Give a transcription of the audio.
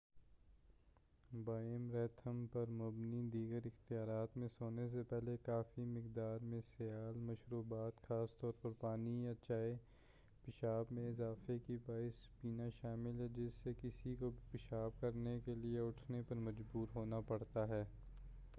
Bio rhythm پر مبنی دیگر اختیارات میں سونے سے پہلے کافی مقدار میں سیال مشروبات خاص طور پر پانی یا چائے، پیشاب میں اضافے کی باعث پینا شامل ہے، جس سے کسی کو بھی پیشاب کرنے کے لیے اٹھنے پر مجبور ہونا پڑتا ہے۔